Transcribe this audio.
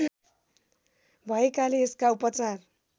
भएकाले यसका उपचार